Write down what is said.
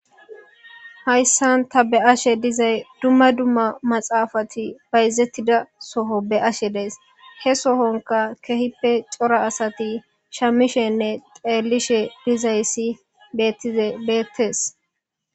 hayssan ta be ashe dizay dumma dumma maxaafati bayzettida soho be ashe dees he sohonka kehippe cora asati shamishenne xeelishe dizayssi bettize beettees